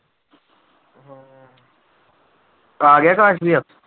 ਆ ਗਿਆ ਅਕਾਸ ਭਈਆ?